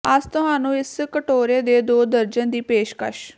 ਅਸ ਤੁਹਾਨੂੰ ਇਸ ਕਟੋਰੇ ਦੇ ਦੋ ਵਰਜਨ ਦੀ ਪੇਸ਼ਕਸ਼